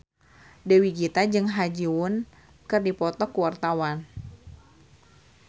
Dewi Gita jeung Ha Ji Won keur dipoto ku wartawan